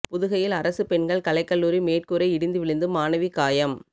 புதுகையில் அரசு பெண்கள் கலைக் கல்லூரி மேற்கூரை இடிந்து விழுந்து மாணவி காயம்